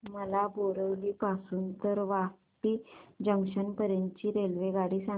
मला बोरिवली पासून तर वापी जंक्शन पर्यंत ची रेल्वेगाडी सांगा